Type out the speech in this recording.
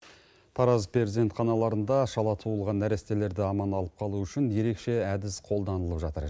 тараз перзентаханаларында шала туылған нәрестелерді аман алып қалу үшін ерекше әдіс қолданылып жатыр